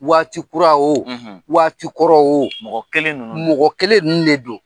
Waati kura wo waati kɔrɔ wo , mɔgɔ kelen nunun de don. Mɔgɔ kelen nunun de don.